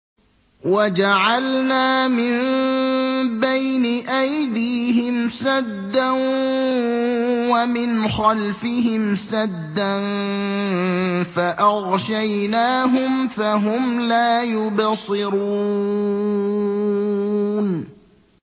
وَجَعَلْنَا مِن بَيْنِ أَيْدِيهِمْ سَدًّا وَمِنْ خَلْفِهِمْ سَدًّا فَأَغْشَيْنَاهُمْ فَهُمْ لَا يُبْصِرُونَ